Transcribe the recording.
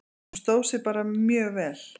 Hún stóð sig bara mjög vel.